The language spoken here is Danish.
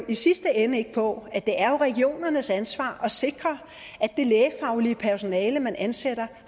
i sidste ende ikke på at det jo er regionernes ansvar at sikre at det lægefaglige personale man ansætter